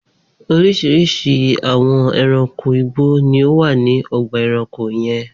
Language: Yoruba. Oríṣiríṣi àwọn ẹranko igbó ni ó wà ní ọgbà-ẹranko yẹn.